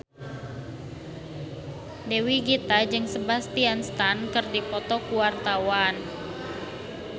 Dewi Gita jeung Sebastian Stan keur dipoto ku wartawan